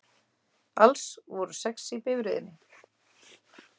Alls voru sex í bifreiðinni